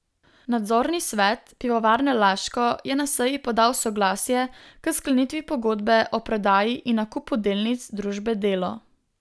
Nadzorni svet Pivovarne Laško je na seji podal soglasje k sklenitvi Pogodbe o prodaji in nakupu delnic družbe Delo.